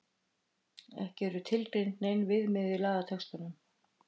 Ekki er tilgreind nein viðmiðun í lagatextanum.